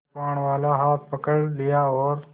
कृपाणवाला हाथ पकड़ लिया और